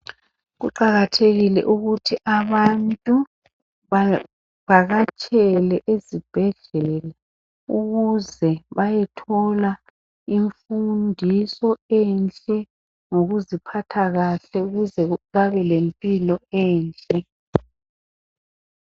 Kuqakathekile ukuthi abantu bavakatshele ezibhedlela. Ukuze bayethola imfundiso enhle, yokuziphatha kahle. Ukuze babe lempilo enhle.